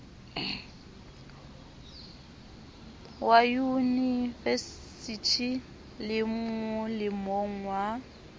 wa yunivesithi le molemong wa